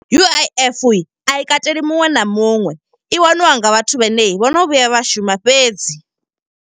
U_I_F a i kateli muṅwe na muṅwe. I waniwa nga vhathu vhane vhono vhuya vha shuma fhedzi.